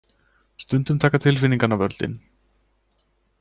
Stundum taka tilfinningarnar völdin.